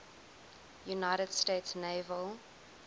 united states naval